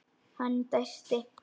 Hann dæsti.